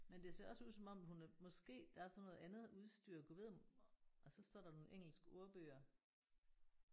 Men det ser også ud som om hun er måske der er sådan noget andet udstyr Gud ved om og så står der nogle engelske ordbøger